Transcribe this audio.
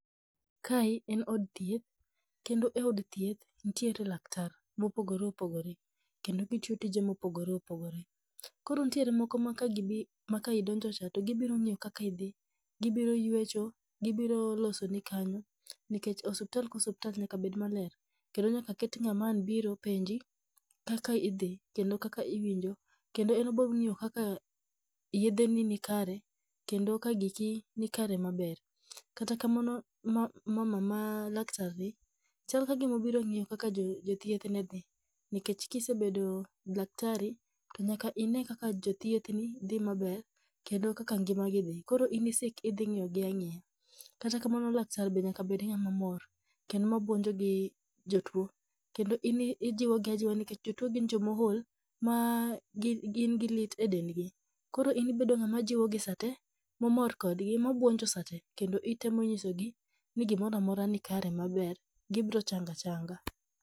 Kae en od thieth, kendo e od thieth nitiere laktar mopogore opogore, kendo gitiyo tije mopogore opogore, koro nitiere moko ma kagibi ma ka idonjo cha to gibioro ng'iyo kaka idhii, gibiro ywecho, gibiro losoni kanyo nikech osuptal ka osuptal nyaka bed maler, kendo nyaka ket ng'ama ang' biro penji, kaka idhii kendo kaka iwinjo kendo en obiro ng'iyo kaka yedhe ni ni kare kendo ka giki ni kare maber, kata kamano mama ma laktrni chal kagima obiro ng'iyo kaka jo thieth ne dhii, nikech ka isebedo daktari to nyaka inee kaka jo thieth ni dhii maber, kendo kaka ngimagi dhii koro in isik idhii ngiyo gii ang'iya, kata kamano laktar nyaka bed ng'atma mor kendo mabuonjo gi jotuo kendo in ijiwogi ajiwa nikech jotuo gin jokma ool ma gingi lit e dendgi, koro in ibedo ng'ama jiwogi saa tee momor kodgi, mabuonjo saa tee kendo itemo nyisogii ni gimoramora ni kare maber gibirochango achanga.